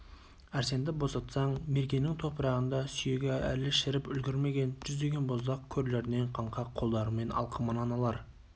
әрсенді босатсаң меркенің топырағында сүйегі әлі шіріп үлгірмеген жүздеген боздақ көрлерінен қаңқа қолдарымен алқымынан алар